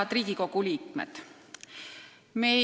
Head Riigikogu liikmed!